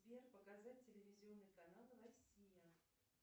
сбер показать телевизионный канал россия